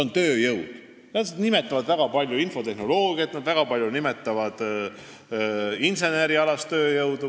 Nad räägivad väga palju infotehnoloogiast, aga viitavad väga palju ka inseneriharidusega tööjõu puudusele.